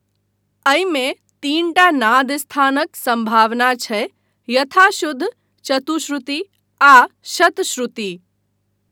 अहिमे तीनटा नाद स्थानक सम्भावना छै यथा शुद्ध, चतुश्रुति आ शतश्रुति।